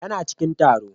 Yana cikin taro.